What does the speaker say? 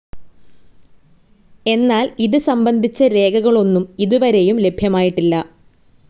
എന്നാൽ ഇത് സംബന്ധിച്ച രേഖകളൊന്നും ഇത് വരേയും ലഭ്യമായിട്ടില്ല.